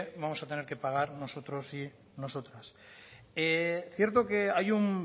vamos a tener que pagar nosotros y nosotras cierto que hay un